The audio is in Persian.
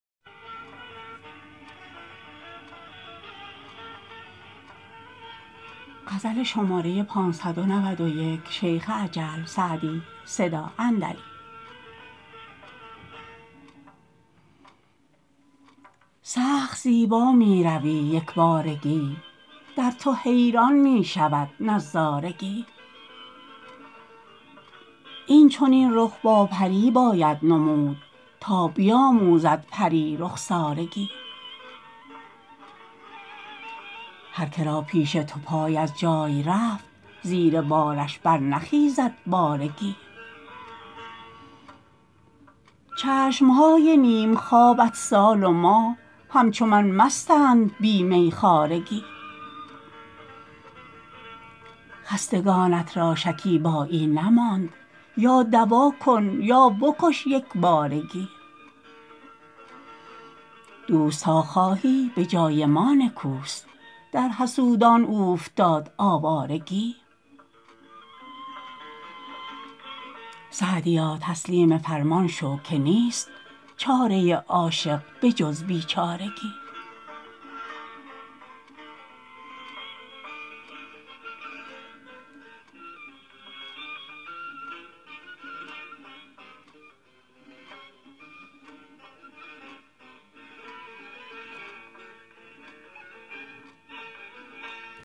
سخت زیبا می روی یک بارگی در تو حیران می شود نظارگی این چنین رخ با پری باید نمود تا بیاموزد پری رخسارگی هرکه را پیش تو پای از جای رفت زیر بارش برنخیزد بارگی چشم های نیم خوابت سال و ماه همچو من مستند بی میخوارگی خستگانت را شکیبایی نماند یا دوا کن یا بکش یک بارگی دوست تا خواهی به جای ما نکوست در حسودان اوفتاد آوارگی سعدیا تسلیم فرمان شو که نیست چاره عاشق به جز بیچارگی